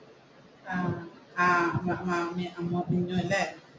ആഹ്